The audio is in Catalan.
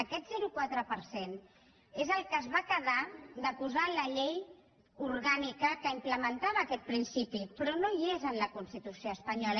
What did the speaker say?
aquest zero coma quatre per cent és el que es va quedar de posar en la llei orgànica que implementava aquest principi però no hi és en la constitució espanyola